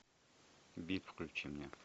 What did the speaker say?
биг включи мне